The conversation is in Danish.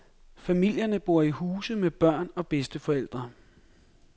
Familierne bor i huse med børn og bedsteforældre.